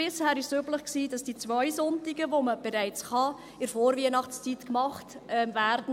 Bisher war es üblich, dass die zwei Sonntage, an denen man bereits offen haben kann, in der Vorweihnachtszeit gemacht werden.